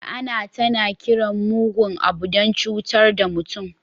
La'ana tana kiran mugun abu don cutar da mutum.